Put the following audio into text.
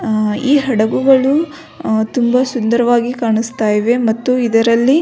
ಆ ಈ ಹಡಗುಗಳು ತುಂಬ ಸುಂದರವಾಗಿ ಕಾಣಿಸ್ತಾ ಇವೆ ಮತ್ತು ಇದರಲ್ಲಿ --